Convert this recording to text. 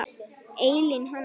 Elín Hanna.